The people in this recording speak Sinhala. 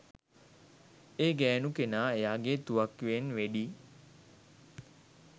ඒ ගෑණු කෙනා එයාගේ තුවක්කුවෙන් වෙඩි